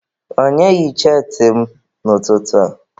Onye yi cheetị m n'ụtụtụ a?